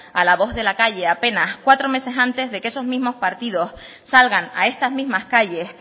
a la voz de la calle apenas cuatro meses antes de que esos mismos partidos salgan a estas mismas calles